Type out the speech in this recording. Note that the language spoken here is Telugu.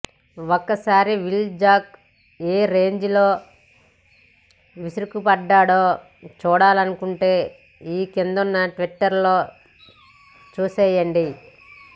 ఒకసారి విల్ జాక్ ఏ రేంజ్ లో విరుచుకుపడ్డాడో చూడాలనుకుంటే ఈ కిందున్న ట్వీట్లలో చూసెయ్యండి